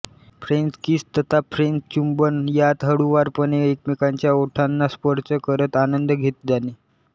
French kiss तथा French चुंबन यात हळुवारपणे एकमेकांच्या ओठांना स्पर्श करत आनंद घेत जाणे